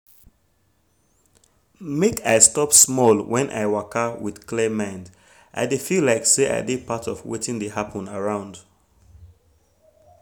make i stop small when i waka with clear mind i dey feel like say i de part of wetin dey happen around